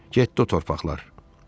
Getdi o torpaqlar.